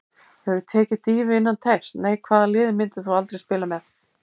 Hefurðu tekið dýfu innan teigs: Nei Hvaða liði myndir þú aldrei spila með: ÍR